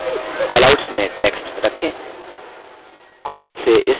callouts में text रखें